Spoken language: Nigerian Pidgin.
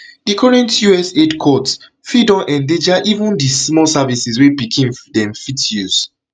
di recent us us aid cuts fit don endanger even di small services wey pikin dem fit use